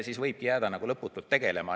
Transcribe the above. Siis võibki jääda lõputult tegelema.